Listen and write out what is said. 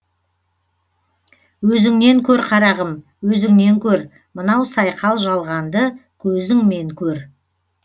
өзіңнен көр қарағым өзіңнен көр мынау сайқал жалғанды көзіңмен көр